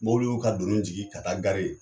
Mobiliw y'u ka donin jigi ka taa ye